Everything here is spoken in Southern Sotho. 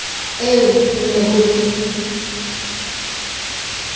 eo ho ne ho le